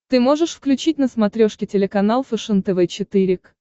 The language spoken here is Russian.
ты можешь включить на смотрешке телеканал фэшен тв четыре к